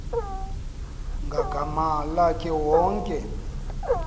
ngagama lakhe wonke